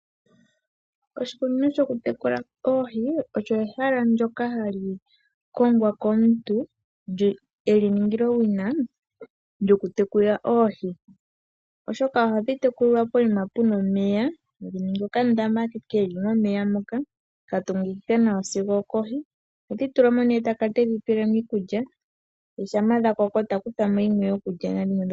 Oshikunino shoku tekula oohi olyo ehala ndyoka hali kongwa komuntu, eli ningila owina lyoku tekula oohi, oshoka ohadhi tekulilwa poima puna omeya, ta ningi okandama komeya ka tungikika nawasigo okohi, ohedhi tulamo ne eta kala tedhi peelemo iikulya, shampa dha koko oha kuthamo dhimwe dhokulya na dhimwe dhoku landitha.